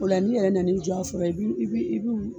O la ni yɛrɛ nana i jɔ a foro la i bi i bu